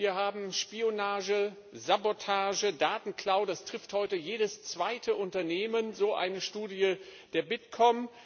Wir haben Spionage, Sabotage, Datenklau, das trifft heute jedes zweite Unternehmen, so eine Studie des Bitkom.